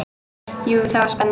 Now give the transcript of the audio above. Jú, það var spenna.